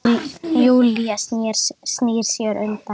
Júlía snýr sér undan.